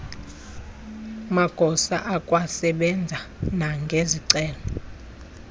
magosa akwasebenza nangezicelo